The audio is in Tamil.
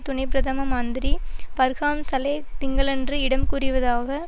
துணை பிரதம மந்திரி பர்ஹாம் சலேஹ் திங்களன்று இடம் கூறியதாவது